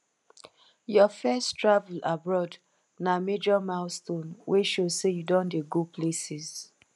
your first travel abroad na major milestone wey show say you don dey go places